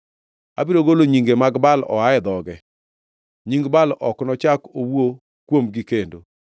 Abiro golo nyinge mag Baal oa e dhoge. Nying Baal ok nochak owuo kuomgi kendo.